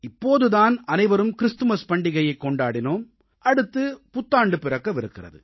இப்போது தான் அனைவரும் கிறிஸ்துமஸ் பண்டிகையைக் கொண்டாடினோம் அடுத்து புத்தாண்டு பிறக்கவிருக்கிறது